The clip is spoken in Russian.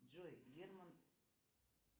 джой герман